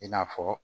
I n'a fɔ